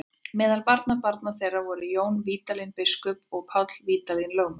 Meðal barnabarna þeirra voru Jón Vídalín biskup og Páll Vídalín lögmaður.